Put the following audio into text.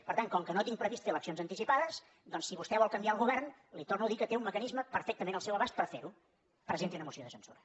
per tant com que no tinc previst fer eleccions anticipades doncs si vostè vol canviar el govern li torno a dir que té un mecanisme perfectament al seu abast per fer ho presenti una moció de censura